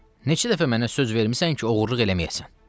Neçə dəfə mənə söz vermisən ki, oğurluq eləməyəsən.